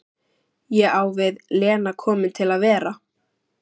Ég á við, Lena komin til að vera?